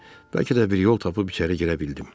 Bəlkə də bir yol tapıb içəri girə bildim.